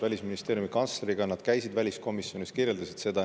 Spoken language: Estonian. Välisministeeriumi kantsleriga nad käisid väliskomisjonis, kirjeldasid seda.